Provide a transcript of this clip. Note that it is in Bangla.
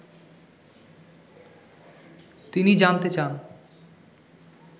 তিনি জানতে চান